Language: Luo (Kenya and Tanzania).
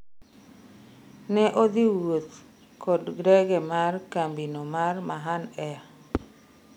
ne odhi wuoth kod ndege mar kambi no mar Mahan air